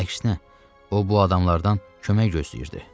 Əksinə, o bu adamlardan kömək gözləyirdi.